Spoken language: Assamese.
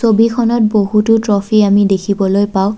ছবিখনত বহুতো ট্ৰফী আমি দেখিবলৈ পাওঁ।